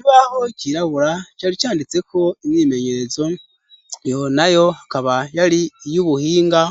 Ibaho kirabura car icanditseko inyimenyezo yona yo hakaba yari iyo ubuhinga